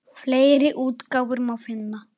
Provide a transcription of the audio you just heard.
Fleiri útgáfur má finna.